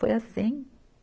Foi assim.